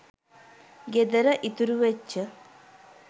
ගෙදර ඉතුරු වෙච්ච